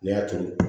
Ne y'a turu